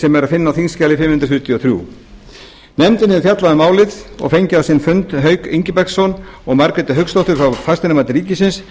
sem er að finna á þingskjali fimm hundruð fjörutíu og þrjú nefndin hefur fjallað um málið og fengið á sinn fund hauk ingibergsson og margréti hauksdóttur frá fasteignamati ríkisins